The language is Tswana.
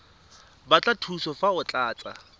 batla thuso fa o tlatsa